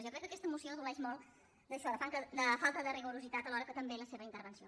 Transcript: jo crec que aquesta moció adoleix molt d’això de falta de rigorositat alhora que també la seva intervenció